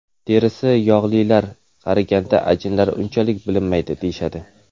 Terisi yog‘lilar qariganda ajinlari unchalik bilinmaydi deyishadi.